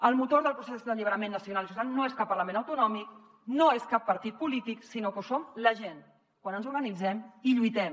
el motor del procés d’alliberament nacional i social no és cap parlament autonòmic no és cap partit polític sinó que ho som la gent quan ens organitzem i lluitem